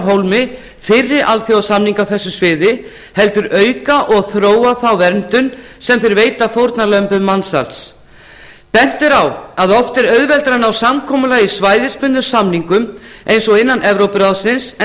hólmi fyrri alþjóðasamninga á þessu sviði heldur auka og þróa þá verndun sem þeir veita fórnarlömbum mansals bent er á að oft er auðveldara að ná samkomulagi með svæðisbundnum samningum eins og innan evrópuráðsins en